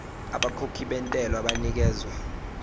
abakhokhi bentela banikezwa